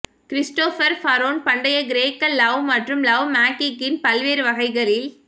Christopher Faraone பண்டைய கிரேக்க love மற்றும் லவ் மேகிக்கின் பல்வேறு வகைகளில்